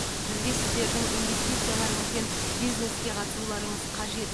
бізге сіздердің инвестицияларыңыз бен бизнеске қатысуларыңыз қажет